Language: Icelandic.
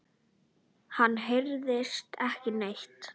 Hann hræðist ekki neitt.